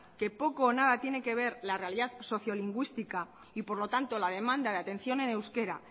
que poco o nada tiene que ver la realidad socio lingüística y por lo tanto la demanda de atención en euskera